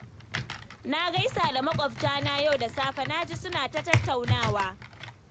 Na gaisa da maƙwatana yau da safe, na ji suna ta tattaunawa